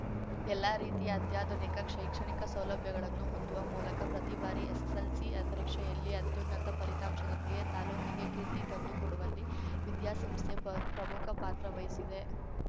ಎಲ್ಲಾ ರೀತಿಯ ಅತ್ಯಾಧುನಿಕ ಶೈಕ್ಷಣಿಕ ಸೌಲಭ್ಯಗಳನ್ನು ಹೊಂದುವ ಮೂಲಕ ಪ್ರತಿಬಾರಿ ಎಸ್‌ಎಸ್‌ಎಲ್‌ಸಿ ಪರೀಕ್ಷೆಯಲ್ಲಿ ಅತ್ಯುನ್ನತ ಫಲಿತಾಂಶದೊಂದಿಗೆ ತಾಲೂಕಿಗೆ ಕೀರ್ತಿ ತಂದು ಕೊಡುವಲ್ಲಿ ವಿದ್ಯಾಸಂಸ್ಥೆಪ್ರಮ್ ಪ್ರಮುಖ ಪಾತ್ರವಹಿಸಿದೆ